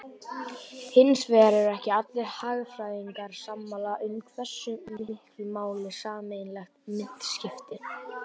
Hins vegar eru ekki allir hagfræðingar sammála um hversu miklu máli sameiginleg mynt skipti.